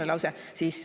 Viimane lause.